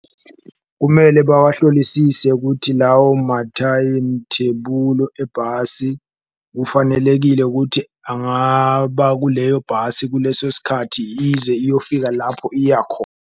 Kumele bawahlolisise kuthi lawo mathayimithebulu ebhasi kufanelekile ukuthi angaba kuleyo bhasi, kuleso sikhathi ize iyofika lapho iya .